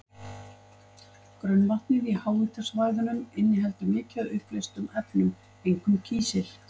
Grunnvatnið í háhitasvæðunum inniheldur mikið af uppleystum efnum, einkum kísil.